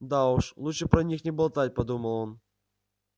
да уж лучше про них не болтать подумал он